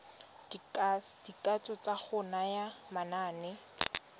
dikatso tsa go naya manane